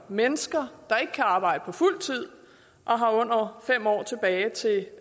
mennesker der ikke kan arbejde på fuld tid og har under fem år tilbage til